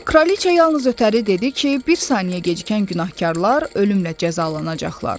Kraliçea yalnız ötəri dedi ki, bir saniyə gecikən günahkarlar ölümlə cəzalanacaqlar.